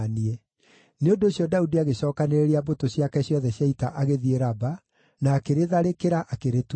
Nĩ ũndũ ũcio Daudi agĩcookanĩrĩria mbũtũ ciake ciothe cia ita agĩthiĩ Raba, na akĩrĩtharĩkĩra, akĩrĩtunyana.